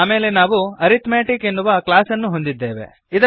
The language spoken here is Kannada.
ಆಮೇಲೆ ನಾವು ಅರಿಥ್ಮೆಟಿಕ್ ಎನ್ನುವ ಕ್ಲಾಸ್ಅನ್ನು ಹೊಂದಿದ್ದೇವೆ